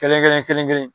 Kelen kelen kelen kelen